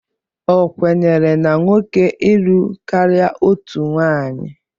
Ọ kwenyere na nwoke ilụ karịa otu nwaanyị?